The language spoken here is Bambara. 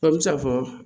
An bɛ se k'a fɔ